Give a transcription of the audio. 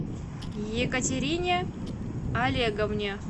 екатерине олеговне